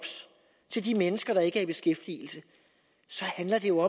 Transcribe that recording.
til de mennesker der ikke er i beskæftigelse så handler det jo